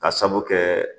Ka sabu kɛ